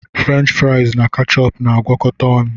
Frenchi friasi na kechupu na-agakọta ọnụ